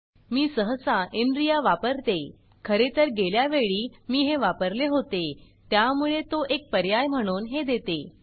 मी सहसा inriaइनरिया वापरते खरे तर गेल्या वेळी मी हे वापरले होते त्यामुळे तो एक पर्याय म्हणून हे देते